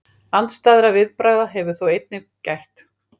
Andstæðra viðbragða hefur þó einnig gætt.